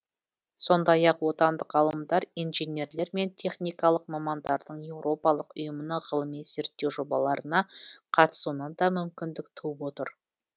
сондай ақ отандық ғалымдар инженерлер мен техникалық мамандардың еуропалық ұйымның ғылыми зерттеу жобаларына қатысуына да мүмкіндік туып отыр